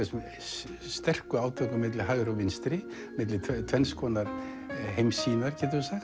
sterkum átökum milli hægri og vinstri milli tvenns konar heimssýnar